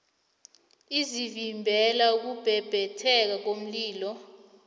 ezivimbela ukubhebhetheka komlilo